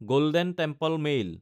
golden Temple mail